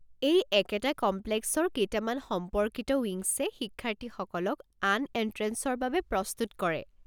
এই একেটা কমপ্লেক্সৰ কেইটামান সম্পৰ্কিত উইংছে শিক্ষাৰ্থীসকলক আন এণ্ট্ৰেঞ্চৰ বাবে প্ৰস্তুত কৰে।